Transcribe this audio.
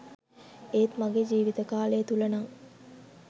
ඒත් ම‍ගේ ජීවිත කාලය තුල නං